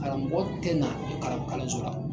Karamɔgɔ tɛ na kalan kalanso la.